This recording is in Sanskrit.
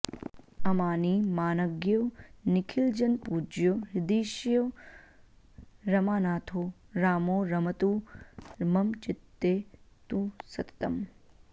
अमानी मानज्ञो निखिलजनपूज्यो हृदिशयो रमानाथो रामो रमतु मम चित्ते तु सततम्